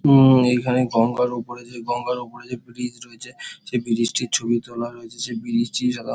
উম এখানে গঙ্গার ওপরে যে গঙ্গার ওপরে যে ব্রিজ রয়েছে সেই ব্রিজ -টির ছবি তোলা হয়েছে সেই ব্রিজ টির--